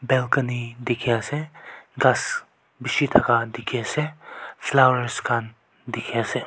Balcony dekhe Ase khass beshe thaka dekhe ase flowers khan dekhe ase.